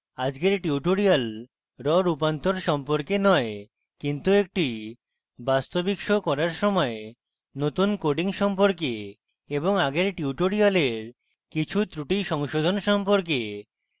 আজকের tutorial raw রূপান্তর সম্পর্কে নয় কিন্তু একটি বাস্তবিক show করার সময় নতুন coding সম্পর্কে এবং আগের tutorial কিছু ত্রুটি সংশোধন সম্পর্কে